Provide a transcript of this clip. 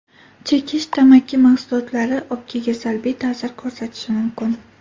Chekish Tamaki mahsulotlari o‘pkaga salbiy ta’sir ko‘rsatishi mumkin.